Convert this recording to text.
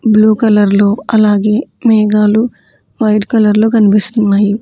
Blue కలర్లో అలాగే మేఘాలు వైట్ కలర్లో కన్పిస్తున్నాయి.